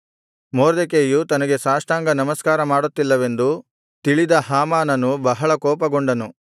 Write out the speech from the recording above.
ಮೊರ್ದೆಕೈಯು ತನಗೆ ಸಾಷ್ಟಾಂಗನಮಸ್ಕಾರ ಮಾಡುತ್ತಿಲ್ಲವೆಂದು ತಿಳಿದ ಹಾಮಾನನು ಬಹಳ ಕೋಪಗೊಂಡನು